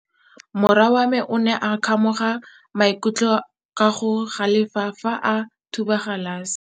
Morwa wa me o ne a kgomoga maikutlo ka go galefa fa a thuba galase.